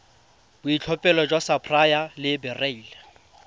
boitlhophelo jwa sapphire le beryl